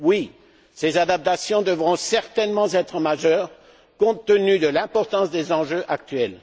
Oui, ces adaptations devront certainement être majeures, compte tenu de l'importance des enjeux actuels.